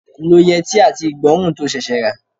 Lo yẹtí àti igborun to ṣẹ̀ṣẹ̀ rà.